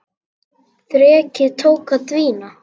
Þrekið tók að dvína.